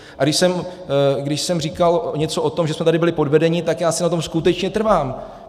A když jsem říkal něco o tom, že jsme tady byli podvedeni, tak já si na tom skutečně trvám!